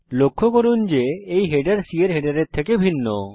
লক্ষ্য করুন যে এই হেডার C এর হেডারের থেকে ভিন্ন